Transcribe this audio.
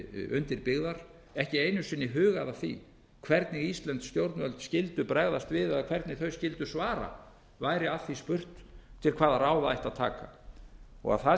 undir byggðar ekki einu sinni hugað að því hvernig íslensk stjórnvöld skyldu bregðast við eða hvernig þau skyldu svara væri að því spurt til hvaða ráða ætti að taka að það